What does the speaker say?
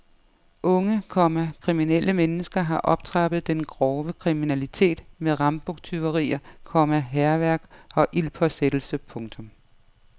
Unge, komma kriminelle mennesker har optrappet den grove kriminalitet med rambuktyverier, komma hærværk og ildspåsættelse. punktum